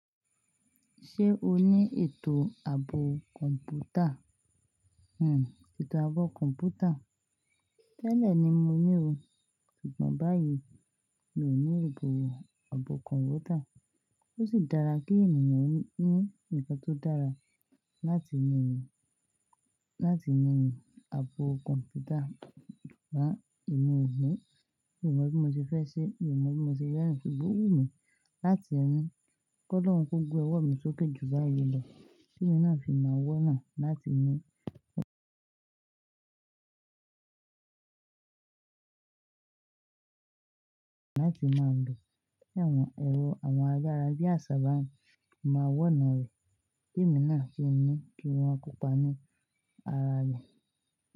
Ṣé o ní ètò ààbò kọ̀m̀pútà? Hmmm, ètò ààbò kọ̀m̀pútà. Tẹ́lẹ̀ ni mo ní o, ṣùgbọ́n báyìí mi ò ní ìbò ààbò kọ̀m̀pútà. Ó sì dára kí ènìyàn ní ǹkan tó dára láti yan ààbò kọ̀m̀pútà. Ṣùgbọ́n èmi ò ni, mi ò mọ̀ bí mo ṣe fẹ́ ṣe, mi ò mọ̀ bí mo ṣe rin, ṣùgbọ́n ó wù mí láti ni kọ́ lọ́hun ko gbe owọ́ mi sókè jù báyìí lọ, kí èmi náà fi máa wọ́nà láti máa lò bi awon, ẹ̀rọ àwọn ayara bí àṣá bá ń mà wọ́nà rẹ̀. Kí èmi náà sì ní kí wọn kó pa'ni ara rẹ̀